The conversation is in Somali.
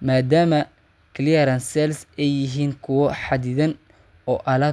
maadaama clearance sales ay yihiin kuwo xaddidan oo alaabta.